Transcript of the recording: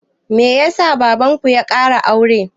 Me ya sa baban ku ya ƙara aure?